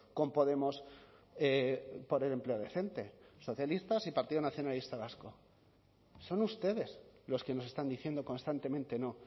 con podemos por el empleo decente socialistas y partido nacionalista vasco son ustedes los que nos están diciendo constantemente no